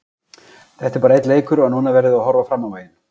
Þetta er bara einn leikur og núna verðum við að horfa fram á veginn.